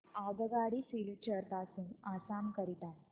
आगगाडी सिलचर पासून आसाम करीता